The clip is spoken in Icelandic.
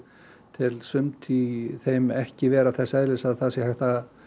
tel sumt í þeim ekki vera þess eðlis að það sé hægt að